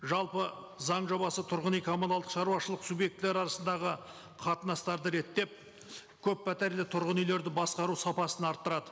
жалпы заң жобасы тұрған үй коммуналдық шаруашылық субъектілері арасындағы қатынастарды реттеп көппәтерлі тұрғын үйлерді басқару сапасын арттырады